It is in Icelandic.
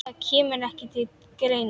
Það kemur ekki til greina!